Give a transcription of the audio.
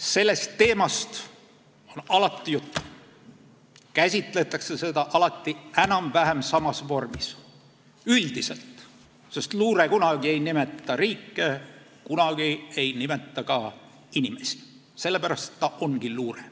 Sellest teemast on alati juttu ja seda käsitletakse alati enam-vähem samas vormis – üldiselt, sest luure ei nimeta kunagi riike, ei nimeta kunagi ka inimesi, sellepärast ta ongi luure.